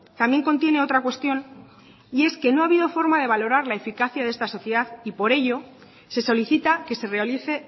también contiene otra cuestión y es que no ha habido forma de valorar la eficacia de esta sociedad y por ello se solicita que se realice